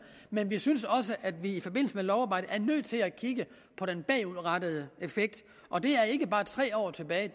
men vi synes også at vi i forbindelse med lovarbejdet er nødt til at kigge på den bagudrettede effekt og det er ikke bare tre år tilbage